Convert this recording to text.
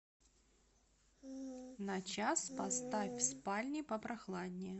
на час поставь в спальне попрохладнее